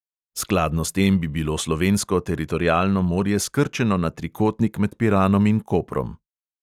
Skladno s tem bi bilo slovensko teritorialno morje skrčeno na trikotnik med piranom in koprom.